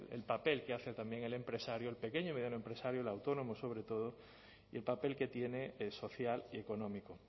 el papel que hace también el empresario el pequeño y mediano empresario el autónomo sobre todo y el papel que tiene social y económico